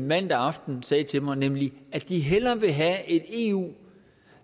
mandag aften sagde til mig nemlig at de hellere vil have et eu